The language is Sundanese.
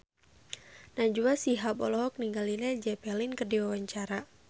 Najwa Shihab olohok ningali Led Zeppelin keur diwawancara